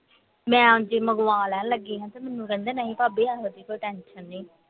ਮੈਂ ਲੈਣ ਲੱਗੀ ਆ ਤੇ ਮੈਨੂੰ ਕਹਿੰਦੇ ਨਹੀਂ ਭਾਭੀ ਇਹੋਜੀ ਕੋਈ tension ਨਹੀਂ